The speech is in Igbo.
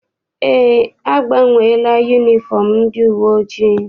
Eé, agbanweela yunifọm ndị uwe ojii.